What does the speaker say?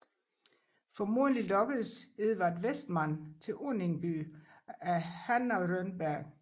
Formodentligt lokkedes Edvard Westman til Önningeby af Hanna Rönnberg